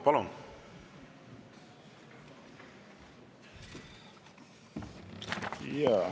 Palun!